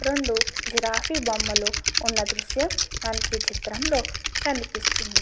రెండు జిరాఫీ లు బొమ్మలు ఉన్న దృశ్యం మనకి ఈ చిత్రంలో కనిపిస్తుంది.